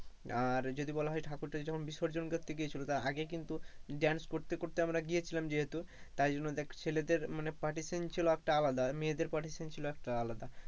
আর যদি বলা হয় যে ঠাকুরটা যখন বিসর্জন করতে গিয়েছিল তা আগে কিন্তু dance করতে করতে আমরা গিয়েছিলাম যেহেতু তাই জন্য দেখ ছেলেদের মানে partition ছিল একটা আলাদা মেয়েদের partition ছিল একটা আলাদা,